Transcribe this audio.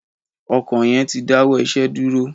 Ọkọ yan ti dawọ iṣẹ duro.